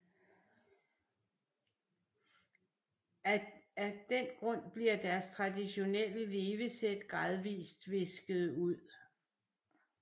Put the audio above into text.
Af den grund bliver deres traditionelle levesæt gradvist visket ud